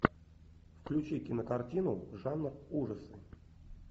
включи кинокартину жанр ужасы